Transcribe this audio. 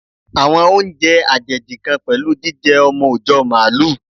Àwọn oúnjẹ àjèjì kan pẹ̀lú jíjẹ ọmọ òjọ́ Màálù.